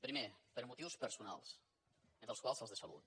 primer per motius personals entre els quals els de salut